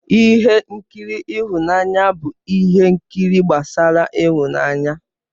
Ihe nkiri ịhụnanya bụ ihe nkiri gbasara ịhụnanya.